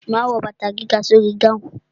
Ma wo bàtà gíga sórí gáhùn.